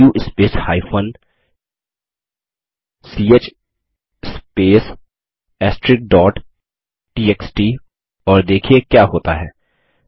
do space ch space txt और देखिये क्या होता है